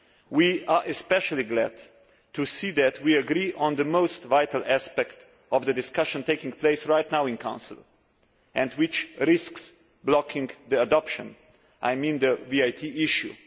We are especially glad to see that we agree on the most vital aspect of the discussions taking place right now in Council, and which risks blocking adoption I mean the VAT issue.